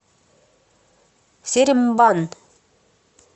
серембан